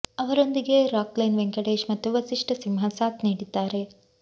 ಅವರೊಂದಿಗೆ ರಾಕ್ ಲೈನ್ ವೆಂಕಟೇಶ್ ಮತ್ತು ವಸಿಷ್ಟ ಸಿಂಹ ಸಾಥ್ ನೀಡಿದ್ದಾರೆ